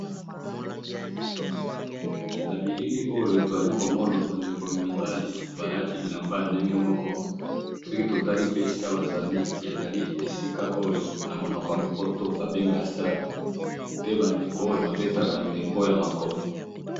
Na bilili oyo tomoni ba ndeko mibali balati bilamba ndenge moko, soki totali malamu esika ba zali na monoko ya lopoto babengi yango stade, pe ba ndeko oyo ba betaka ndembo ya makolo